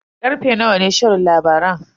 Karfe nawa ne shirin labaran?